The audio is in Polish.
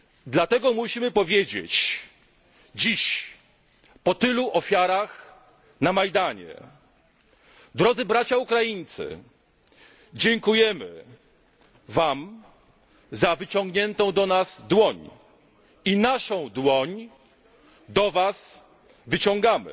Dlatego musimy powiedzieć dziś po tylu ofiarach na Majdanie, drodzy Bracia Ukraińcy dziękujemy Wam za wyciągniętą do nas dłoń i naszą dłoń do Was wyciągamy.